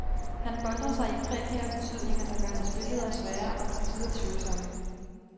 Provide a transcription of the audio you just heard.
Han boltrer sig i prekære betydninger, der gør hans billeder svære og til tider tvivlsomme.